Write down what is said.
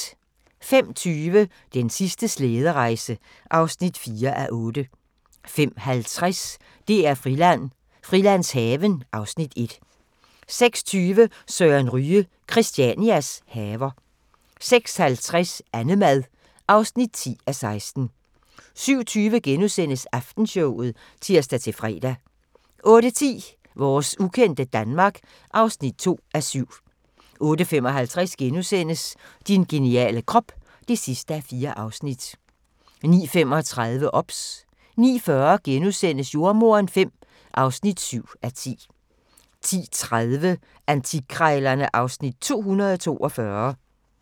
05:20: Den sidste slæderejse (4:8) 05:50: DR-Friland: Frilandshaven (Afs. 1) 06:20: Søren Ryge – Christianias haver 06:50: Annemad (10:16) 07:20: Aftenshowet *(tir-fre) 08:10: Vores ukendte Danmark (2:7) 08:55: Din geniale krop (4:4)* 09:35: OBS 09:40: Jordemoderen V (7:10)* 10:30: Antikkrejlerne (Afs. 242)